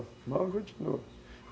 A malva continua.